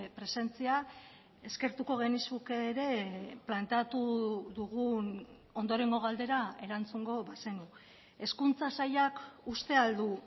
presentzia eskertuko genizuke ere planteatu dugun ondorengo galdera erantzungo bazenu hezkuntza sailak uste al du